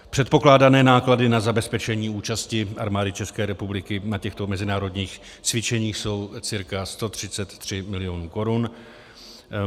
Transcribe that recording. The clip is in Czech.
Předpokládané náklady na zabezpečení účasti Armády České republiky na těchto mezinárodních cvičeních jsou cca 133 milionů korun.